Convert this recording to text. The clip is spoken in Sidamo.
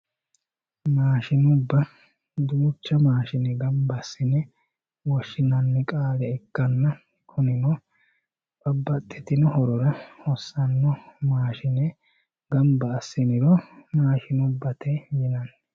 maashshinubba duucha maashshine gamba assine woshshinanni qaale ikkanna kunino babbaxitinno horora hossanno maashshine gamba assiniro maashshinubbate yinanni